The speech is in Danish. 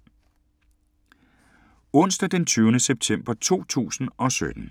Onsdag d. 20. september 2017